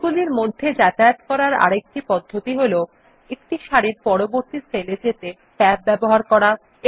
sell গুলির মধ্যে যাতায়াত করার আরেকটি পদ্ধতি হল একটি সারির পরবর্তী সেলে যেতে ট্যাব ব্যবহার করা